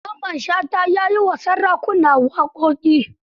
Mamman Shata ya yi wa sarakuna waƙoƙi.